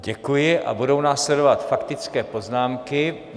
Děkuji a budou následovat faktické poznámky.